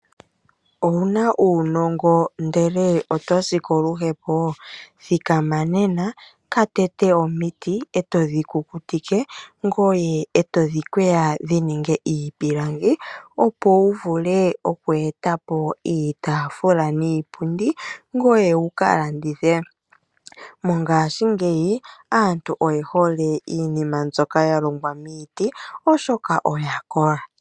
Owuna uunongo ndele oto si koluhepo? Thikama nena, ka tete omiti e todhi kukutike, ngoye e todhi kweya dhi ninge iipilangi opo wu vule oku e ta po iitaafula niipundi, ngoye wuka landithe. Mongaashingeyi aantu oye hole iinima mbyoka ya longwa miiti, oshoka oya kola.